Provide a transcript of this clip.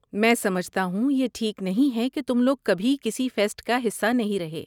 میں سمجھتا ہوں یہ ٹھیک نہیں ہے کہ تم لوگ کبھی کسی فیسٹ کا حصہ نہیں رہے۔